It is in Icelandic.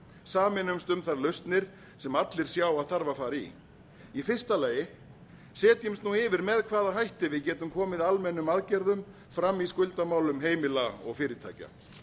sameinumst um þær lausnir sem allir sjá að þarf að fara í í fyrsta lagi setjumst nú yfir með hvaða hætti við getum komið almennum aðgerðum fram í skuldamálum heimila og fyrirtækja